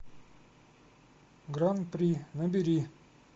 гран при набери